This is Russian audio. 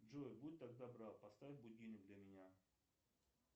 джой будь так добра поставь будильник для меня